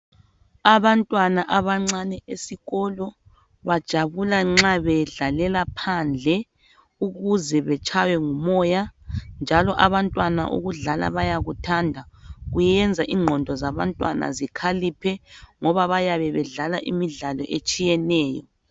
Abantwana abancane esikolo bajabula nxa bedlalela phandle ukuze betshaywe ngumoya njalo abantwana ukudlala bayakuthanda. Kuyenza ingqondo zabantwana zikhaliphe ngoba bayabe bedlala imidlalo etshiyeneyo.